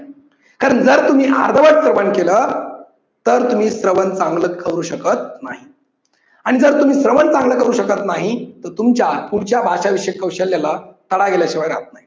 तर जर तुम्ही अर्धवट श्रवण केलं तर तुम्ही श्रवण चांगल करू शकत नाही. आणि जर तुम्ही श्रवण चांगल करू शकत नाही तर तुमच्या भाषा विषयक कौशाल्ल्याला तडा गेल्याशिवाय राहत नाही.